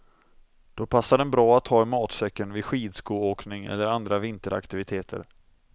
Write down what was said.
Då passar den bra att ha i matsäcken vid skidskoåkning eller andra vinteraktiviteter.